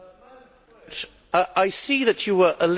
I see that you were elected as a Green.